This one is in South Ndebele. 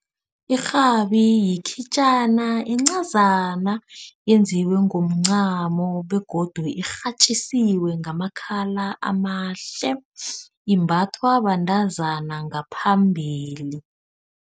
Irhabi yikhitjana encazana eyenziwe ngomncamo begodu irhatjisiwe ngamakhala amahle. Imbathwa bantazana ngaphambili.